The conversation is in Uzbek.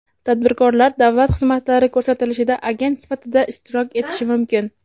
Tadbirkorlar davlat xizmatlari ko‘rsatilishida agent sifatida ishtirok etishi mumkin.